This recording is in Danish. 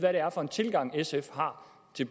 det